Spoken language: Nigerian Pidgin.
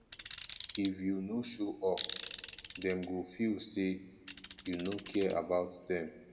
if you no show up dem go feel say you no care about dem